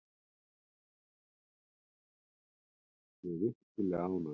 Ég er virkilega ánægður.